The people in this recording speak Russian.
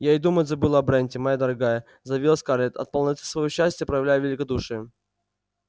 я и думать забыла о бренте моя дорогая заявила скарлетт от полноты своего счастья проявляя великодушие